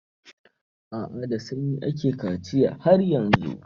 A'a, da sanyi ake kaciya har yanzu.